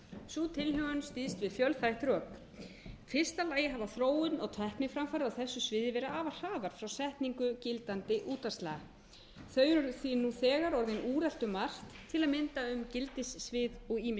sú tilhögun styðst við fjölþætt rök í fyrsta lagi hafa þróun og tækniframfarir á þessu sviði verið afar hraðar frá setningu gildandi útvarpslaga þau eru því nú þegar orðin úrelt um margt til að mynda um gildissvið og ýmis